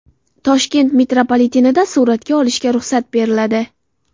Toshkent metropolitenida suratga olishga ruxsat beriladi .